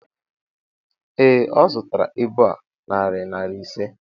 Ee, ọ zụtara ibu a narị naira ise.